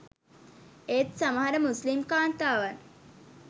ඒත් සමහර මුස්‌ලිම් කාන්තාවන්